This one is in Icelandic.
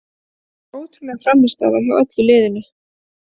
Þetta var ótrúleg frammistaða hjá öllu liðinu.